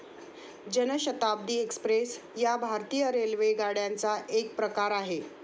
जन शताब्दी एक्स्प्रेस या भारतीय रेल्वेगाड्यांचा एक प्रकार आहे.